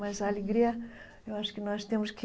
Mas a alegria, eu acho que nós temos que...